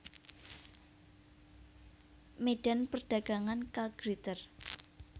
Medan Perdagangan K Gritter